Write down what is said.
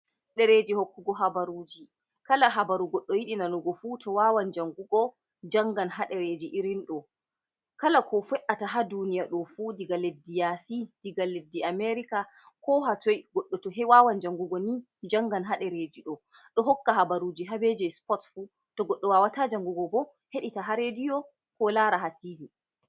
Ɗereeji hokkugo habaruji, kala habaru goɗɗo yiɗi nanugo fu to wawan jangugo jangan ha ɗereji irin ɗo, kala ko fe’ata ha duniya ɗo fu iga leddi yaasi iga leddi amerika ko hatoi goɗɗo to he wawan jangugo ni jangan ha derreji ɗo, ɗo hokka habaruji ha be je supot fu, to goɗɗo wawata jangugo bo heɗita ha rediyo ko laara ha tibi.